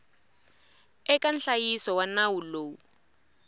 eka nhlayiso wa nawu lowu